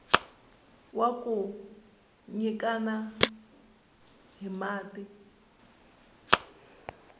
wa ku nyikana hi mati